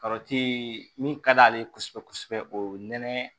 min ka d'ale ye kosɛbɛ kosɛbɛ o ye nɛnɛ